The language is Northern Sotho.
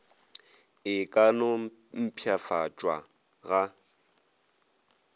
e ka no mpšhafatšwa ga